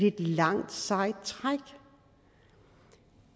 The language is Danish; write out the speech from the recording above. et langt sejt træk